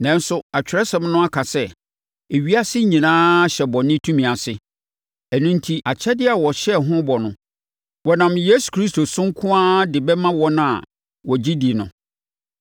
Nanso, Atwerɛsɛm no aka sɛ, ewiase nyinaa hyɛ bɔne tumi ase. Ɛno enti, akyɛdeɛ a wɔhyɛɛ ho bɔ no, wɔnam Yesu Kristo so nko ara de bɛma wɔn a wɔgye di no.